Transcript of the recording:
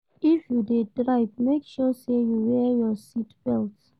If you de drive make sure say you wear your seat belt